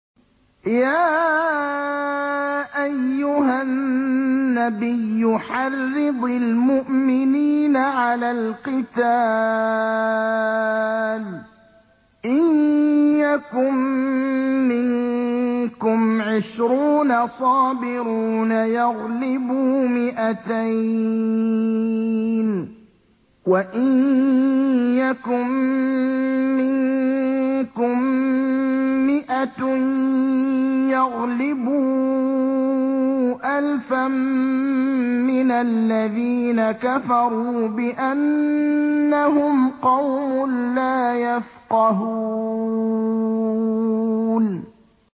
يَا أَيُّهَا النَّبِيُّ حَرِّضِ الْمُؤْمِنِينَ عَلَى الْقِتَالِ ۚ إِن يَكُن مِّنكُمْ عِشْرُونَ صَابِرُونَ يَغْلِبُوا مِائَتَيْنِ ۚ وَإِن يَكُن مِّنكُم مِّائَةٌ يَغْلِبُوا أَلْفًا مِّنَ الَّذِينَ كَفَرُوا بِأَنَّهُمْ قَوْمٌ لَّا يَفْقَهُونَ